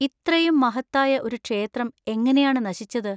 ഇത്രയും മഹത്തായ ഒരു ക്ഷേത്രം എങ്ങനെയാണ് നശിച്ചത്?